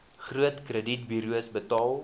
groot kredietburos betaal